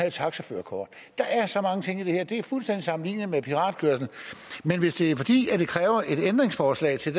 et taxaførerkort der er så mange ting i det her det er fuldstændig sammenligneligt med piratkørsel men hvis det kræver et ændringsforslag til